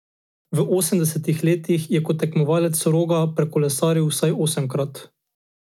V osemdesetih jo je kot tekmovalec Roga prekolesaril vsaj osemkrat.